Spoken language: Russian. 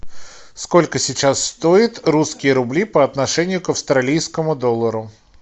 сколько сейчас стоит русские рубли по отношению к австралийскому доллару